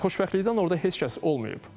Xoşbəxtlikdən orda heç kəs olmayıb.